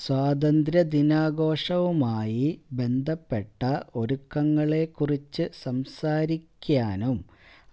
സ്വാതന്ത്ര്യ ദിനാഘോഷവുമായി ബന്ധപ്പെട്ട ഒരുക്കങ്ങളെക്കുറിച്ച് സംസാരിക്കാനും